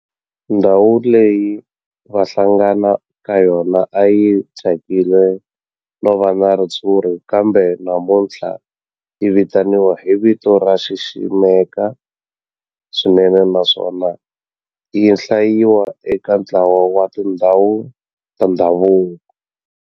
Ndhawu leyi a va hlangana ka yona a yi thyakile no va na ritshuri kambe namuntlha yi vitaniwa hi vito ro xiximeka swinene naswona yi hlayiwa eka ntlawa wa tindhawu ta ndhavuko.